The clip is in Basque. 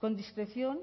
con discreción